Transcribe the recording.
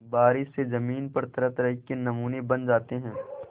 बारिश से ज़मीन पर तरहतरह के नमूने बन जाते हैं